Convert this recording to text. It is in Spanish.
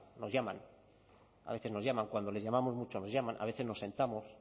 nos llaman a veces nos llaman cuando les llamamos mucho nos llaman a veces nos sentamos